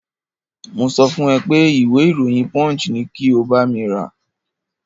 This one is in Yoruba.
Mo sọ fún ẹ pé ìwé ìròyìn Punch ni kí o bámi rà.